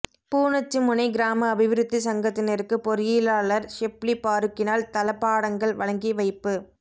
பூநொச்சிமுனை கிராம அபிவிருத்தி சங்கத்தினருக்கு பொறியியலாளர் ஷிப்லி பாறுக்கினால் தளபாடங்கள் வழங்கி வைப்பு